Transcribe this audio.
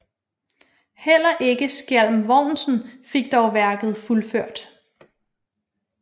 Heller ikke Skjalm Vognsen fik dog værket fuldført